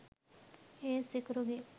ඒත් සිකුරුගේ